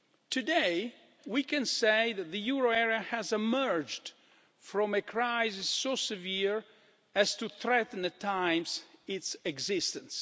Today, we can say that the euro area has emerged from a crisis so severe as to threaten at times its existence.